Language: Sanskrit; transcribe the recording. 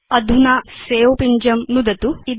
अधुना सवे पिञ्जं नुदतु